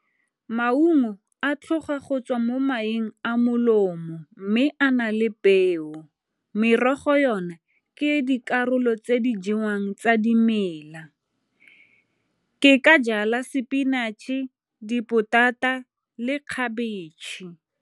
Maungo a tlhoga go tswa mo maeng a molomo mme a na le peo. Merogo yone ke dikarolo tse di jewang tsa dimela. Ke ka jala spinatšhe, dipotata le khabetšhe.